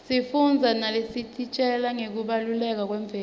sifundza naletisitjela ngekubaluleka kwemfundvo